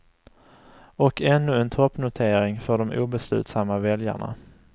Och ännu en toppnotering för de obeslutsamma väljarna.